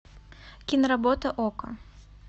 киноработа окко